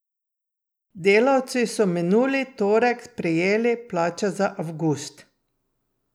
Delavci so minuli torek prejeli plače za avgust.